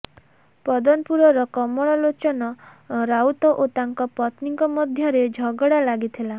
ପଦନପୁରର କମଳଲୋଚନ ରାଉତ ଓ ତାଙ୍କ ପତ୍ନୀଙ୍କ ମଧ୍ୟରେ ଝଗଡ଼ା ଲାଗିଥିଲା